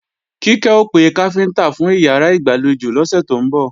Kíkẹ́ ó pe káfíntá fún ìyàrá ìgbàlejò lọ́sẹ̀ tó ń bọ̀